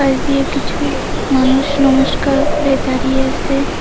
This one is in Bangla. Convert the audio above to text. পাশ দিয়ে কিছু মানুষ নমস্কার করে দাঁড়িয়ে আছে।